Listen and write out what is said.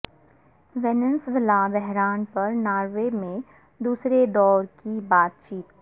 Venezuela بحران پر Norway میں دوسرے دورکی بات چیت